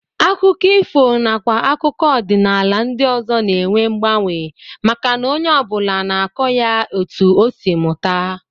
Akụkọ ifo nakwa akụkọ ọdịnala ndị ọzọ na-enwe mgbanwe maka na onye ọ bụla na-akọ ya etu o si mụta